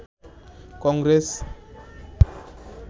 Congress